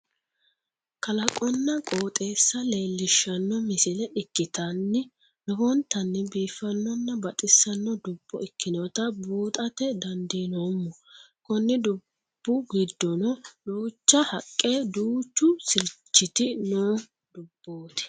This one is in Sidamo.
Kalaqonna qooxeessa leellishshanno misile ikkitann lowontanni bifannonn baxisanno dubbo ikkinota buuxate dandiinoommo konni dubbu giddono duucha haqqe duuchu sirchiti noo dubbooti.